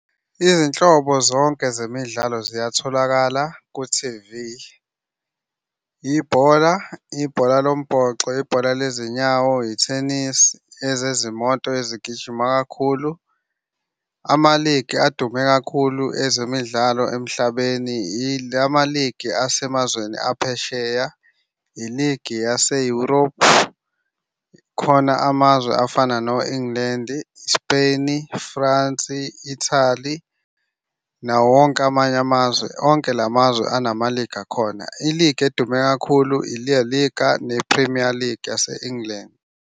Izinhlobo zonke zemidlalo ziyatholakala ku-T_V. Ibhola, ibhola lombhoxo, ibhola lezinyawo, ithenisi, ezezimoto ezigijima kakhulu. Ama-league adume kakhulu ezemidlalo emhlabeni ilama-league asemazweni aphesheya, i-league yase-Europe. Khona amazwe afana no-England, Spain, France, Italy, nawo wonke amanye amazwe. Onke la mazwe anama-league akhona. I-league edume kakhulu i-Laliga ne-Premier League yase-England.